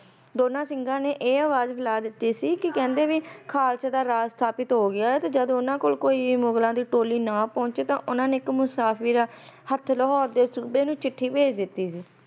ਦੋਨਾ ਸਿਘਾ ਨੇਇਹ ਅਵਾਜ ਬੁਲਾ ਦਿਤੀ ਕੀ ਖਾਲਸੇ ਦਾ ਰਾਜ ਸਥਾਪਿਤ ਹੋ ਗਿਆ ਤਾ ਉਨਾ ਨੇ ਕਹਾ ਉਨਾ ਦੇ ਕੋਲ ਕੋਈ ਮੁੱਲਾ ਦੀ ਟੋਲੀ ਨਾ ਪਹੁੰਚ ਤਾ ਉਨਾ ਇਕ ਮੁਸਾਫੀਰ ਦੇ ਹੱਥ ਲਾਹੌਰ ਦੇ ਸੂਬੇ ਨੂੰ ਚਿੱਠੀ ਬੈਜ ਦਿਤੀ ਸੀ